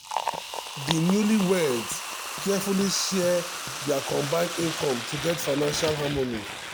di newlyweds carefully share dia combined income to get financial harmony.